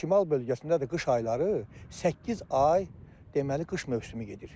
Şimal bölgəsində də qış ayları səkkiz ay deməli qış mövsümü gedir.